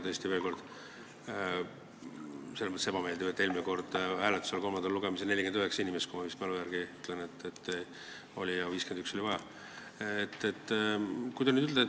Tõesti, veel kord, on ebameeldiv, et eelmine kord oli kolmanda lugemise hääletusel ainult 49 inimest , aga oli vaja 51.